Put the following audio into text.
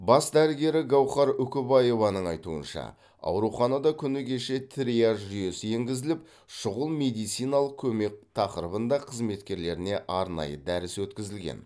бас дәрігері гаухар үкібаеваның айтуынша ауруханада күні кеше триаж жүйесі енгізіліп шұғыл медициналық көмек тақырыбында қызметкерлеріне арнайы дәріс өткізілген